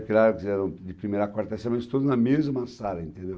Claro que eram de primeira a quarta série, mas todos na mesma sala, entendeu?